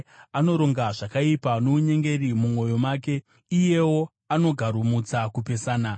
anoronga zvakaipa nounyengeri mumwoyo make, iyeyo anogaromutsa kupesana.